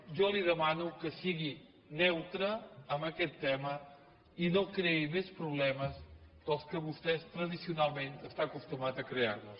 jo li demano que sigui neutre en aquest tema i no creï més problemes dels que vostès tradicionalment estan acostumats a crear nos